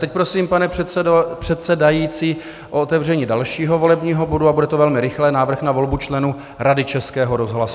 Teď prosím, pane předsedající, o otevření dalšího volebního bodu, a bude to velmi rychlé - návrh na volbu členů Rady Českého rozhlasu.